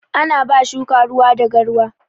Ana ba shuka ruwa da garwa